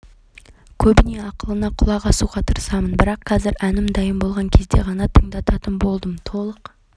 көбінесе ақылына құлақ асуға тырысамын бірақ қазір әнім дайын болған кезде ғана тыңдататын болдым толық